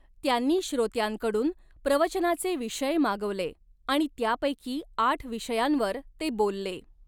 त्यांनी श्रोत्यांकडून प्रवचनाचे विषय मागवले आणि त्यापैकी आठ विषयांवर ते बोलले.